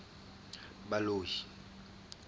baloi